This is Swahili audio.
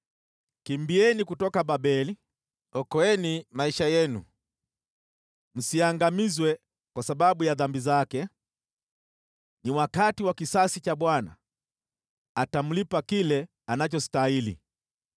“Kimbieni kutoka Babeli! Okoeni maisha yenu! Msiangamizwe kwa sababu ya dhambi zake. Ni wakati wa kisasi cha Bwana , atamlipa kile anachostahili.